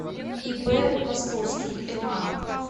ип васковский ма